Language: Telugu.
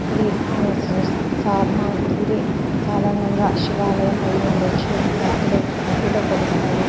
ఇది సమన్ సాధారణంగా శివాలయం అయ్యి ఉండొచ్చు భక్తులు భక్తితో కొలుస్తారు.